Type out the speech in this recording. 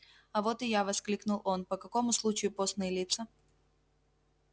а вот и я воскликнул он по какому случаю постные лица